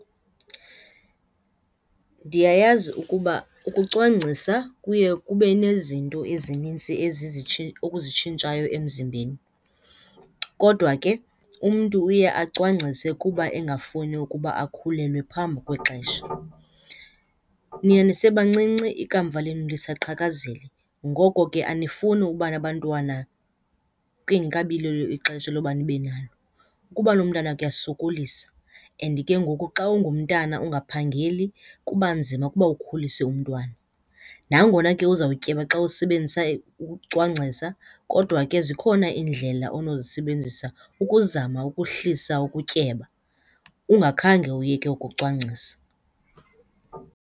Ndiyayazi ukuba ukucwangcisa kuye kube nezinto ezinintsi okuzitshintshayo emzimbeni kodwa ke umntu uye acwangcise kuba engafuni ukuba akhulelwe phambi kwexesha. Nina nisebancinci, ikamva lenu lisaqhakazil. Ngoko ke anifuni uba nabantwana kungekabi lilo ixesha loba nibe nalo. Ukuba nomntana kuyasokolisa and ke ngoku xa ungumntana ungaphangeli kuba nzima ukuba ukhulise umntwana. Nangona ke uzawutyeba xa usebenzisa ukucwangcisa kodwa ke zikhona iindlela onozisebenzisa ukuzama ukuhlisa ukutyeba ungakhange uyeke ukucwangcisa.